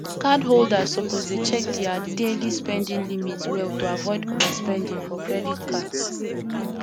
cardholders suppose dey check dia daily spending limits well to avoid overspending for credit cards